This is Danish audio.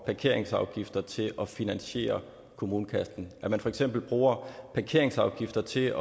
parkeringsafgifter til at finansiere kommunekassen at man for eksempel bruger parkeringsafgifter til